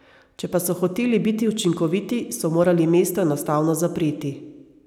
Če pa so hoteli biti učinkoviti, so morali mesto enostavno zapreti.